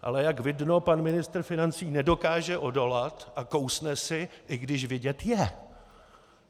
Ale jak vidno, pan ministr financí nedokáže odolat a kousne si, i když vidět je.